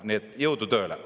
Nii et jõudu tööle!